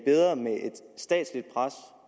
statsligt pres